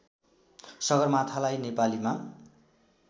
सगरमाथालाई नेपालीमा